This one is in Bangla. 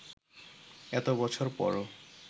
এত বছর পরও